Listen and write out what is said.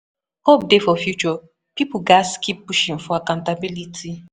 Hope dey for future; pipo gatz keep pushing for accountability.